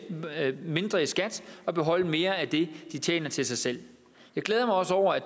mindre i skat og beholde mere af det de tjener til sig selv jeg glæder mig også over at